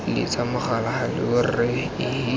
letsa mogala hallow rra ehe